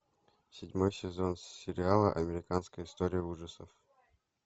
седьмой сезон сериала американская история ужасов